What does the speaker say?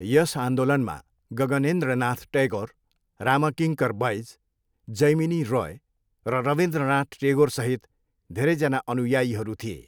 यस आन्दोलनमा गगनेन्द्रनाथ टैगोर, रामकिङ्कर बैज, जैमिनी रोय र रविन्द्रनाथ टेगोरसहित धेरैजना अनुयायीहरू थिए।